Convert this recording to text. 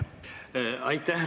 Aitäh!